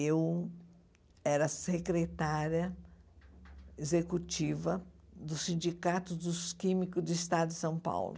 Eu era secretária executiva do Sindicato dos Químicos do Estado de São Paulo.